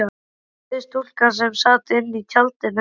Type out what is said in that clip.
spurði stúlka sem sat inní tjaldinu.